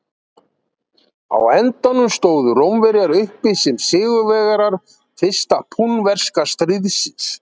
á endanum stóðu rómverjar uppi sem sigurvegarar fyrsta púnverska stríðsins